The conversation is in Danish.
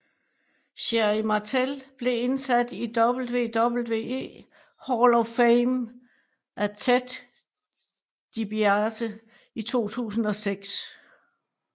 Sherri Martel blev indsat i WWE Hall of Fame af Ted DiBiase i 2006